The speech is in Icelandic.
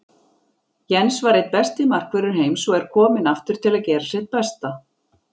Jens var einn besti markvörður heims og er kominn aftur til að gera sitt besta.